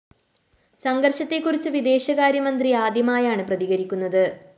സംഘര്‍ഷത്തെക്കുറിച്ച് വിദേശകാര്യമന്ത്രി ആദ്യമായാണ് പ്രതികരിക്കുന്നത്